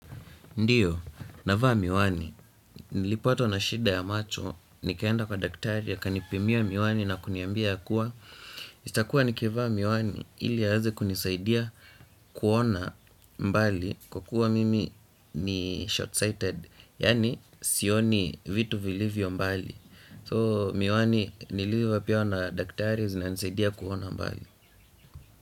Ndio, navaa miwani, nilipatwa na shida ya macho, nikaenda kwa daktari akanipimia miwani na kuniambia yakua itakua nikivaa miwani ili aweze kunisaidia kuona mbali kwa kuwa mimi ni short-sighted yani sioni vitu vilivyo mbali so miwani niliyopewa na daktari zinanisaidia kuona mbali.